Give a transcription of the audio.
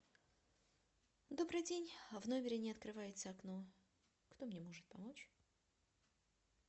добрый день в номере не открывается окно кто мне может помочь